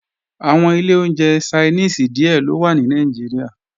Àwọn ilé oúnjẹ Ṣainíìsì díè ló wà ní Nàìjíríà